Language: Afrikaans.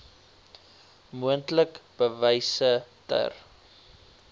moontlik bewyse ter